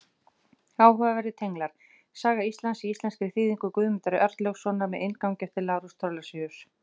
Áhugaverðir tenglar: Saga tímans, í íslenskri þýðingu Guðmundar Arnlaugssonar með inngangi eftir Lárus Thorlacius.